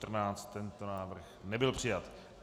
Tento návrh nebyl přijat.